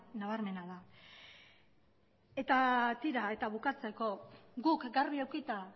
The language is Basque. nabarmena da eta bukatzeko guk garbi edukita